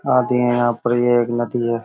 आती है यहाँ पर ये एक नदी है |